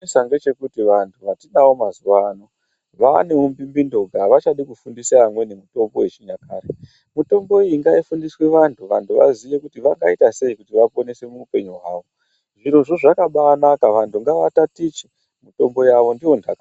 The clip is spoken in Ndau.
Chinonetsa ndechekuti vantu vatinawo mazuva ano vaane umbimbindonga avachafundisi vamweni mitombo yechinyakare, mitombo iyi ngaifundiswe vanhu, vanhu vaziye kuti wakaita sei kuto vaponeswe muupenyu hwavo, zviro zvoo zvakabaa naka vantu ngavatatiche mitombo yavo ndiyo ndaka.